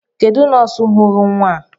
Kedụ nọọsụ ghọrọ nwa a?